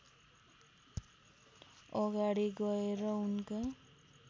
अगाडि गएर उनका